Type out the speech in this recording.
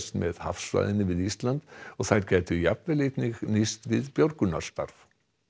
með hafsvæðinu við Ísland og þær gætu jafnvel einnig nýst við björgunarstarf